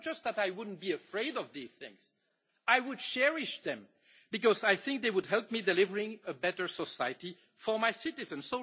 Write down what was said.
It is not just that I would not be afraid of these things, I would cherish them, because I think they would help to deliver a better society for my citizens.